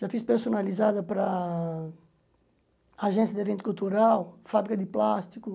Já fiz personalizada para agência de evento cultural, fábrica de plástico.